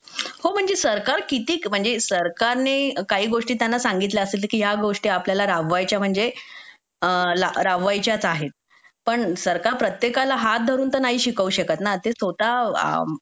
हो म्हणजे सरकार किती सरकारने काही गोष्टी त्यांना सांगितले असतील की ह्या गोष्टी आपल्याला राबवायच्या म्हणजे राबवायच्याच आहेत पण सरकार प्रत्येकाला हात धरून तर नाही शिकवू शकत ना